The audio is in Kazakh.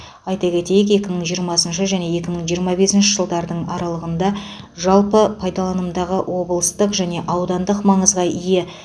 айта кетейік екі мың жиырмасыншы және екі мың жиырма бесінші жылдардың аралығында жалпы пайдаланымдағы облыстық және аудандық маңызға ие